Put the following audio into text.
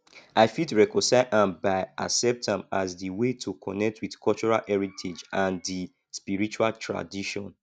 i fit reconcile am by accept am as di way to connect with cultural heritage and di sprirtual tradition